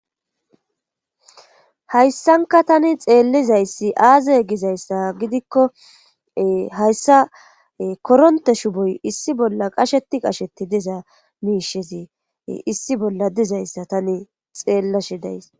Hayssanka tani xeellizayssi aazay gizayssa gidikko hayssa koronte shuboy issi bolla qasheti qashetti diza miishezi issi bolla dizayssa tani xeella shidays.